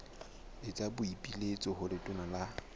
etsa boipiletso ho letona la